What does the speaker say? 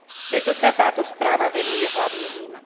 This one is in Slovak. Preto sa táto správa venuje hlavne im.